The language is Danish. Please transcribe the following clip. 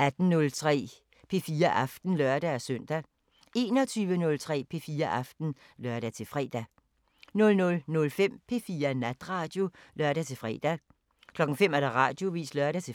18:03: P4 Aften (lør-søn) 21:03: P4 Aften (lør-fre) 00:05: P4 Natradio (lør-fre) 05:00: Radioavisen (lør-fre)